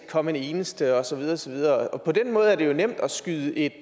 komme en eneste og så videre og så videre og på den måde er det jo nemt at skyde et